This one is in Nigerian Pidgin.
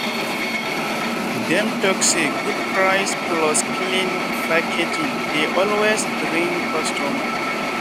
dem talk say good price plus clean packaging dey always bring customer.